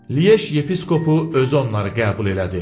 Lyej yepiskopu özü onları qəbul elədi.